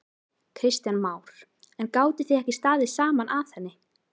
Kristján Már: En gátuð þið ekki staðið saman að henni?